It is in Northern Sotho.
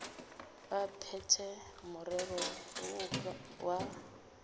ba phethe morero woo wa